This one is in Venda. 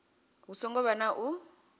hu songo vha na u